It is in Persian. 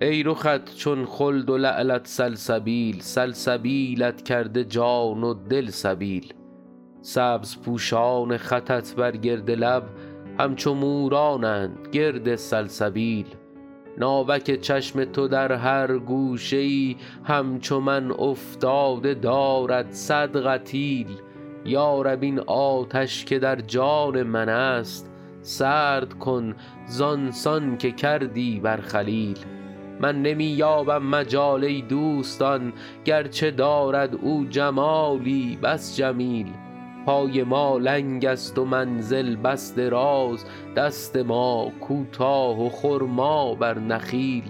ای رخت چون خلد و لعلت سلسبیل سلسبیلت کرده جان و دل سبیل سبزپوشان خطت بر گرد لب همچو مورانند گرد سلسبیل ناوک چشم تو در هر گوشه ای همچو من افتاده دارد صد قتیل یا رب این آتش که در جان من است سرد کن زان سان که کردی بر خلیل من نمی یابم مجال ای دوستان گرچه دارد او جمالی بس جمیل پای ما لنگ است و منزل بس دراز دست ما کوتاه و خرما بر نخیل